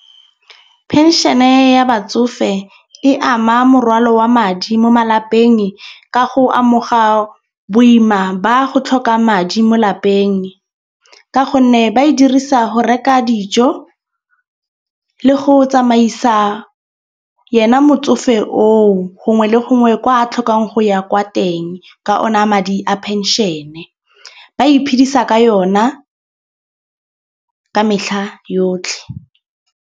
Penšene ya batsofe e ama morwalo wa madi mo malapeng ka go amoga boima ba go tlhoka madi mo lapeng. Ka gonne ba e dirisa go reka dijo le go tsamaisa yena motsofe oo gongwe le gongwe kwa tlhokang go ya kwa teng ka ona madi a penšene. Ba iphedisa ka yona ka metlha yotlhe.